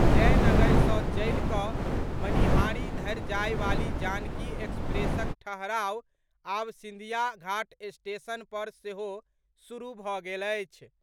जयनगर सँ चलि कऽ मनिहारी धरि जायवाली जानकी एक्सप्रेसक ठहराव आब सिंधिया घाट स्टेशन पर सेहो शुरू भऽ गेल अछि।